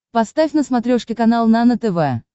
поставь на смотрешке канал нано тв